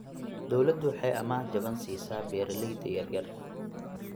Dawladdu waxay amaah jaban siisaa beeralayda yaryar.